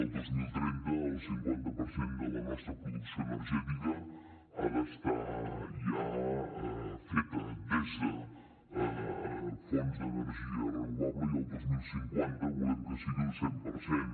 el dos mil trenta el cinquanta per cent de la nostra producció energètica ha d’estar ja feta des de fonts d’energia renovable i el dos mil cinquanta volem que sigui el cent per cent